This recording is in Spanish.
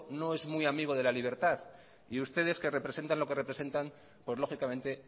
no es muy amigo de la libertad y ustedes que representan lo que representan pues lógicamente